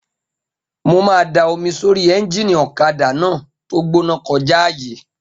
Mo máa da omi sórí éúnjínì ọ̀kadà náà tó gbóná kọjá àyè